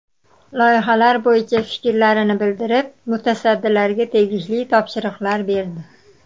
Loyihalar bo‘yicha fikrlarini bildirib, mutasaddilarga tegishli topshiriqlar berdi.